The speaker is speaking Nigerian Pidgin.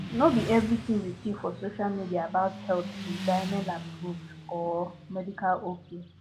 no be everything you see for social media about health be danielapproved or medical ok